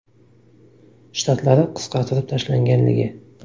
Shtatlari qisqartirib tashlanganligi.